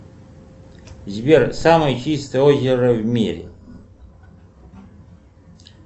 сбер самое чистое озеро в мире